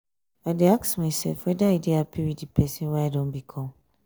i dey ask myself weda i dey hapi wit di pesin wey i don become.